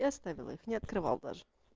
и оставил их не открывал даже